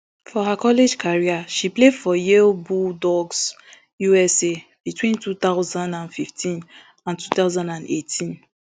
for her college career she play for yale bulldogs usa between two thousand and fifteen and two thousand and eighteen